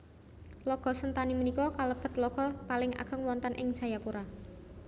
Tlaga Sentani punika kalebet tlaga paling ageng wonten ing Jayapura